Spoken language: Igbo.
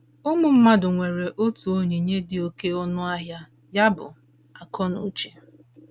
Ụmụ mmadụ nwere otu onyinye dị oké ọnụ ahịa ya bụ, akọnuche.